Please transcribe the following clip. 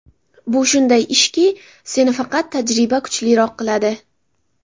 Bu shunday ishki, seni faqat tajriba kuchliroq qiladi.